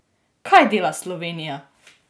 Kaj dela Slovenija?